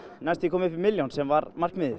næstum því komið upp í milljón sem var markmiðið